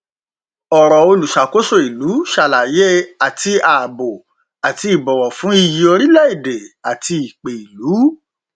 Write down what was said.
ọrọ olùṣàkóso ìlú ṣàlàyé àti ààbò àti ìbọwọ fún iyì orílẹ èdè àti ìpè ìlú